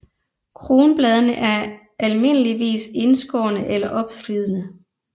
Kronbladene er almindeligvis indskårne eller opslidsede